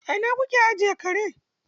A ina kuke ajiye kare?